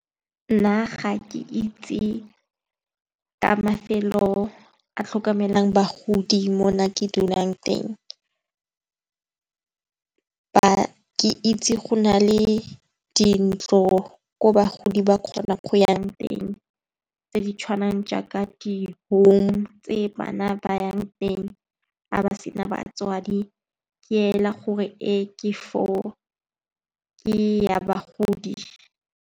Nna ga ke itse ka mafelo a tlhokomelang bagodi mo nna ke dulang teng. Ke itse go na le dintlo gore bagodi ba kgona go yang teng tse di tshwanang jaaka di-home tse bana ba yang teng ga ba sena batswadi ke ela gore ke ya bagodi.